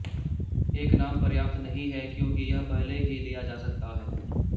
एक नाम पर्याप्त नहीं है क्योंकि यह पहले ही लिया जा सकता है